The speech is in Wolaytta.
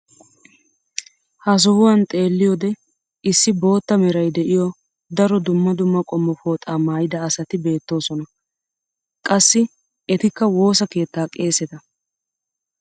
ha sohuwan xeelliyoode issi bootta meray de'iyo daro dumma dumma qommo pooxaa maayida asati beetoosona. qassi etikka woossa keettaa qeesetta.